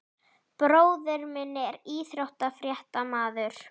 Bróðir minn er íþróttafréttamaður.